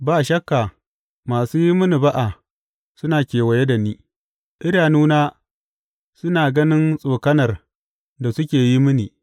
Ba shakka masu yi mini ba’a suna kewaye da ni; idanuna suna ganin tsokanar da suke yi mini.